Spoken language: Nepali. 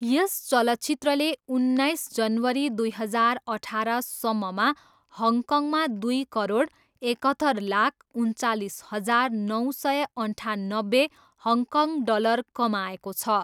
यस चलचित्रले उन्नाइस जनवरी दुई हजार अठारसम्ममा हङकङमा दुई करोड, एकहत्तर लाख, उन्चालिस हजार नौ सय अन्ठानब्बे हङकङ डलर कमाएको छ।